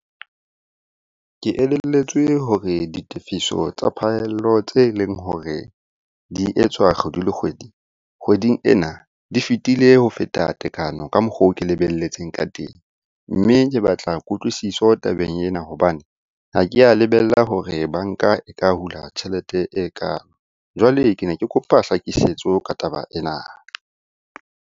Ke elelletswe hore ditefiso tsa phaello tse leng hore di etswa kgwedi le kgwedi, kgweding ena di fetile ho feta tekano ka mokgwa oo ke lebelletseng ka teng. Mme ke batla kutlwisiso tabeng ena hobane ha ke ya lebella hore banka e ka hula tjhelete ekalo. Jwale ke ne ke kopa tlhakisetso ka taba ena.